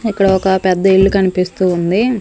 ఇక్కడ ఒక పెద్ద ఇల్లు కనిపిస్తూ ఉంది.